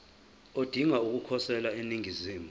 odinga ukukhosela eningizimu